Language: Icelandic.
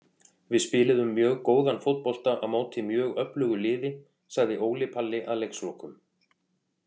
Við spiluðum mjög góðan fótbolta á móti mjög öflugu liði, sagði Óli Palli að leikslokum.